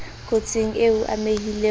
kotsing eo o amehileng ho